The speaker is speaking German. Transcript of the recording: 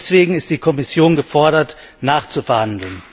Deswegen ist die Kommission gefordert, nachzuverhandeln.